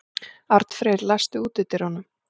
Arnfreyr, læstu útidyrunum.